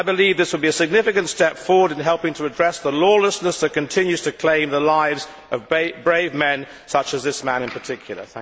I believe this would be a significant step forward in helping to address the lawlessness that continues to claim the lives of brave men such as this man in particular.